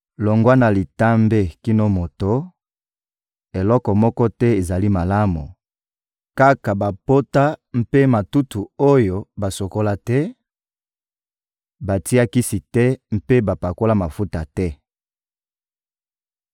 Longwa na litambe kino na moto, eloko moko te ezali malamu, kaka bapota mpe matutu oyo basukola te, batia kisi te mpe bapakola mafuta te.